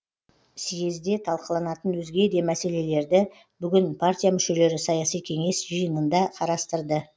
съезде талқыланатын өзге де мәселелерді бүгін партия мүшелері саяси кеңес жиынында қарастырды